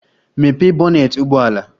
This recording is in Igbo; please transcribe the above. Mepee bonnet ụgbọ ala!